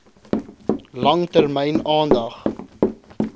lang termyn aandag